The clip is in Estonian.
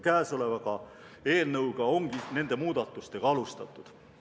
Käesoleva eelnõuga ongi nende muudatustega alustatud.